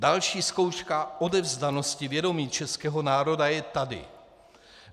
Další zkouška odevzdanosti vědomí českého národa je tady.